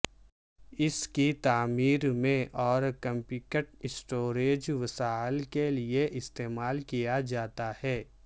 اس کی تعمیر میں اور کمپیکٹ اسٹوریج وسائل کے لئے استعمال کیا جاتا ہے